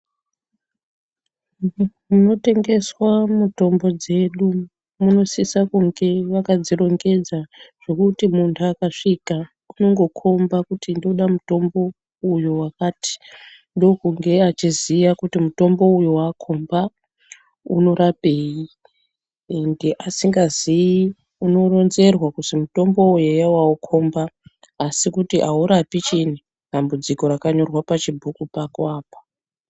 Munotengeswa mutombo dzedu munosisa kunge vakadzirongedza zvekuti munhu akasvika unongokomba kuti ndoda mutombo uyo wakati ndokunge achiziya kuti mutombo uyo waakomba unorapei, ende asingaziyi unoronzerwa kuzi mutombo uyu eya wakomba asi kuti aurapi chiinyi, dambudziko rakanyorwa pachibhuku pako apa.